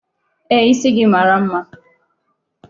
Ee, isi gị mara mma.